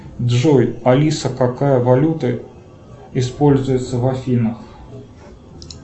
джой алиса какая валюта используется в афинах